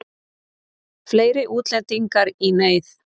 Fleiri útlendingar í neyð